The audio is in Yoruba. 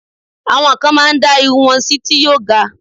Àwọn kan máá ń dá irun wọn sí ti yóò ga